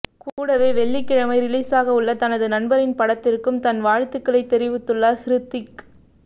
கூடவே வெள்ளிக்கிழமை ரிலீசாகவுள்ள தனது நண்பரின் படத்திற்கும் தன் வாழ்த்துக்களைத் தெரிவித்துள்ளார் ஹிருத்திக்